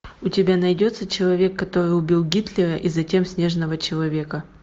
у тебя найдется человек который убил гитлера и затем снежного человека